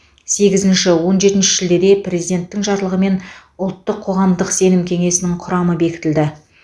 сегізінші он жетінші шілдеде президенттің жарлығымен ұлттық қоғамдық сенім кеңесінің құрамы бекітілді